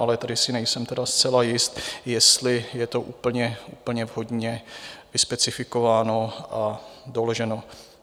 Ale tady si nejsem tedy zcela jist, jestli je to úplně vhodně vyspecifikováno a doloženo.